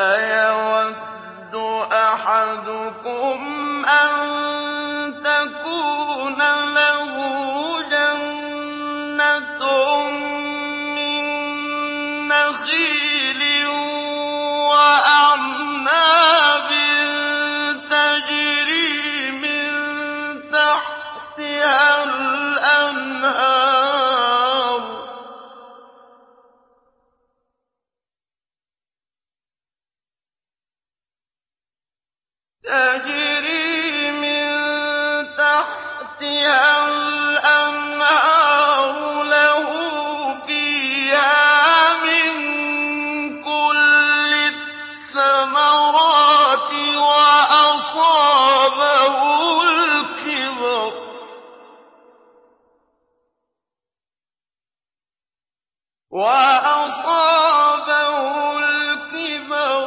أَيَوَدُّ أَحَدُكُمْ أَن تَكُونَ لَهُ جَنَّةٌ مِّن نَّخِيلٍ وَأَعْنَابٍ تَجْرِي مِن تَحْتِهَا الْأَنْهَارُ لَهُ فِيهَا مِن كُلِّ الثَّمَرَاتِ وَأَصَابَهُ الْكِبَرُ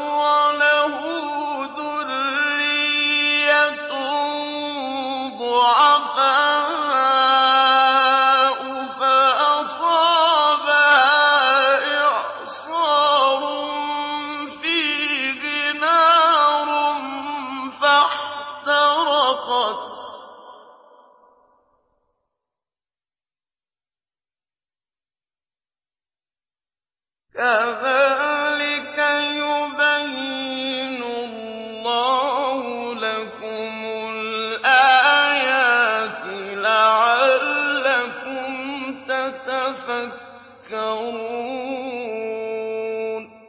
وَلَهُ ذُرِّيَّةٌ ضُعَفَاءُ فَأَصَابَهَا إِعْصَارٌ فِيهِ نَارٌ فَاحْتَرَقَتْ ۗ كَذَٰلِكَ يُبَيِّنُ اللَّهُ لَكُمُ الْآيَاتِ لَعَلَّكُمْ تَتَفَكَّرُونَ